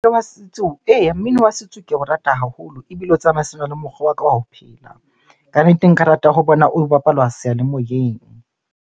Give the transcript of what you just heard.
Wa setso. Eya, mmino wa setso ke o rata haholo ebile o tsamaisana le mokgwa wa ka wa ho phela. Kannete nka rata ho bona o bapalwa seyalemoyeng.